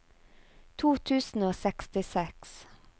to tusen og sekstiseks